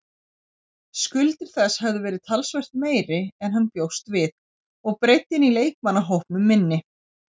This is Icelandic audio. Skuldir þess hefðu verið talsvert meiri en hann bjóst við og breiddin í leikmannahópnum minni.